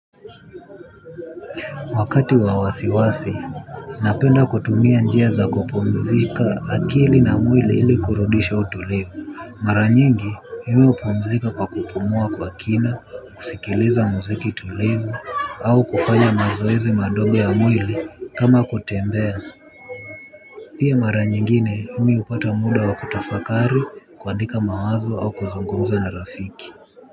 Wakati wa wasiwasi, napenda kutumia njia za kupumzisha akili na mwili ili kurudisha utulivu. Mara nyingi, mimi hupumzika kwa kupumua kwa kina, kusikiliza muziki tulivu, au kufanya mazoezi madogo ya mwili kama kutembea. Pia mara nyingine, mimi hupata muda wa kutafakari, kuandika mawazo, au kuzungumza na rafiki.